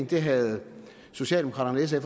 det havde socialdemokraterne